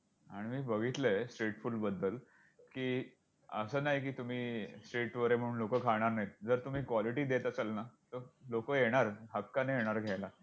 आणि मी बघितलंय street food बद्दल, की असं नाही की तुम्ही street वर आहे म्हणून लोकं खाणार नाहीत! जर तुम्ही quality देत असाल ना, तर लोकं येणार हक्काने येणार घ्यायला!